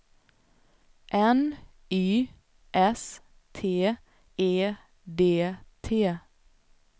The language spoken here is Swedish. N Y S T E D T